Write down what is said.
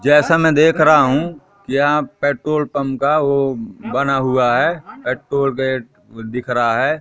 जैसा मैं देख रहा हूं कि यहाँ पेट्रोल पंप का वो बना हुआ है ऍटो गेट दिख रहा हैं।